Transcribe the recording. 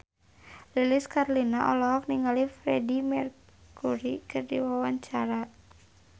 Lilis Karlina olohok ningali Freedie Mercury keur diwawancara